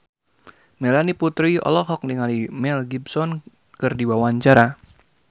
Melanie Putri olohok ningali Mel Gibson keur diwawancara